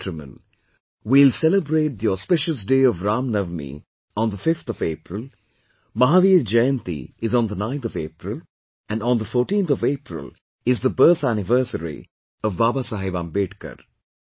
My dear countrymen, we will celebrate the auspicious day of Ram Navami on the 5th of April, Mahavir Jayanti is on the 9th of April, and on the 14th of April is the birth Anniversary of Baba Saheb Ambedkar